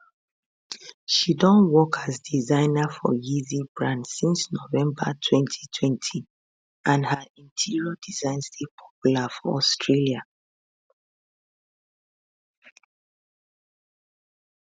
she don work as designer for yeezy brand since november 2020 and her interior designs dey popular for australia